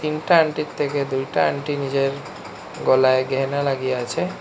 তিনটা আন্টি থেকে দুইটা আন্টি নিজের গলায় গেহানা লাগিয়ে আছে।